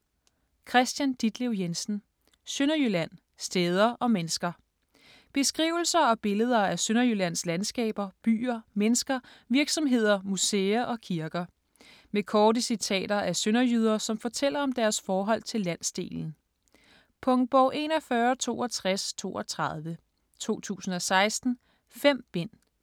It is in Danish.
Jensen, Kristian Ditlev: Sønderjylland: steder og mennesker Beskrivelser og billeder af Sønderjyllands landskaber, byer, mennesker, virksomheder, museer og kirker. Med korte citater af sønderjyder, som fortæller om deres forhold til landsdelen. Punktbog 416232 2016. 5 bind.